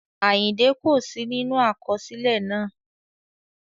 Àyìndẹ́ kò sí nínú àkọsílẹ̀ náà